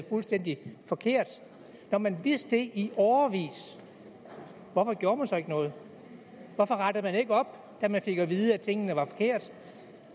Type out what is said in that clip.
fuldstændig forkert når man vidste det i årevis hvorfor gjorde man så ikke noget hvorfor rettede man ikke op da man fik at vide at tingene var forkerte